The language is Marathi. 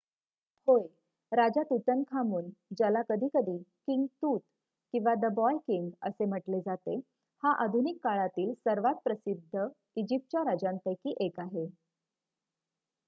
"होय! राजा तूतनखामून ज्याला कधीकधी "किंग तूत" किंवा "द बॉय किंग" असे म्हटले जाते हा आधुनिक काळातीळ सर्वांत प्रसिद्ध इजिप्तच्या राजांपैकी एक आहे.